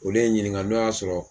Olu ye n ɲininka n'o y'a sɔrɔ